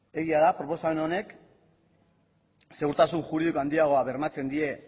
egia da proposamen honek segurtasun juridikoa handiagoa bermatzen die